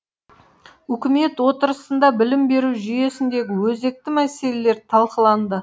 үкімет отырысында білім беру жүйесіндегі өзекті мәселелер талқыланды